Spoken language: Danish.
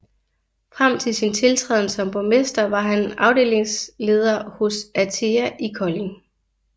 Frem til sin tiltræden som borgmester var han afdelingsleder hos ATEA i Kolding